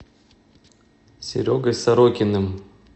серегой сорокиным